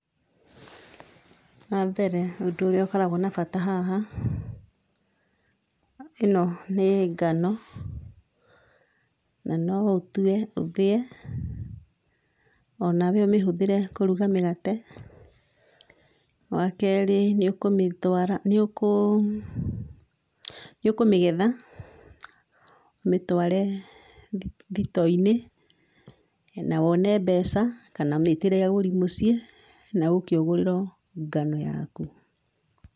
Wambere ũndũ ũrĩa ũkoragwo na bata haha, ĩno nĩ ngano, na no ũtue ũthiĩ onawe ũmĩhũthĩre kũruga mĩgate. Wakerĩ nĩũkũmĩtwara, nĩũkũ, nĩũkũmĩgetha ũmĩtware thitoo-inĩ na wone mbeca kana ũmĩtĩre agũri mũcii na ũke ũgũrĩrwo ngano yaku.